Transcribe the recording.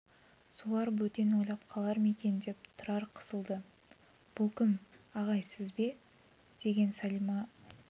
солар бөтен ойлап қалар ма екен деп тұрар қысылды бұл кім ағай сіз бе деген сәлима